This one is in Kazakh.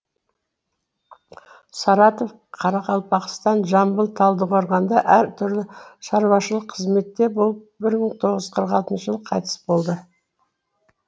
саратов қарақалпақстан жамбыл талдықорғанда әр түрлі шаруашылық қызметте болып бір мың тоғыз жүз қырық алтыншы жылы қайтыс болды